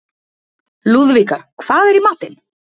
Lúðvíka, hvað er í matinn?